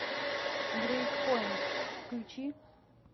брейк поинт включи